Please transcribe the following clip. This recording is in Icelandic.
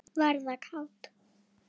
Verða kát.